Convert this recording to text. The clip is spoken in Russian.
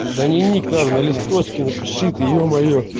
да ни ник надо на листочке напиши ты ё-моё